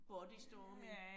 Bodystorming